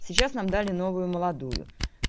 сейчас нам дали новую молодую